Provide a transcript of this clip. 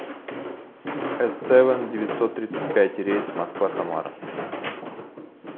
эс сэвэн рейс москва самара